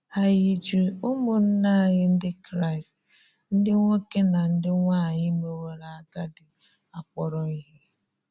Ànyị̀ jì́ ụmụ́nna anyị Ndị́ Kraị́st, ndị́ nwoke na ndị́ nwanyị mewòrò agàdí, akpọ̀rọ ihe?